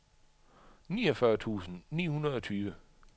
niogfyrre tusind ni hundrede og tyve